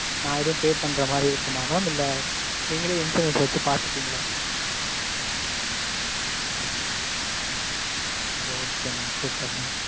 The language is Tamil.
நான் எதும் pay பண்ற மாதிரி இருக்குமா mam இல்ல நீங்களே insurance வச்சு பாத்துப்பீங்களா. Okay mam super mam.